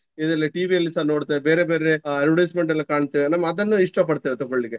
ಇದ್ರಲ್ಲಿ TV ಯಲ್ಲಿಸ ನೋಡ್ತೇವೆ ಬೇರೆ ಬೇರೆ advertisement ಲ್ಲಿ ಕಾಣ್ತೇವೆ ನಮ್ಮ ಅದನ್ನು ಇಷ್ಟ ಪಡ್ತೇವೆ ತಗೊಳ್ಳಿಕ್ಕೆ.